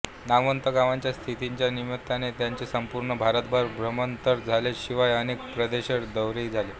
नामवंत गवयांच्या साथीच्या निमित्ताने त्यांचे संपूर्ण भारतभर भ्रमण तर झालेच शिवाय अनेक परदेश दौरेही झाले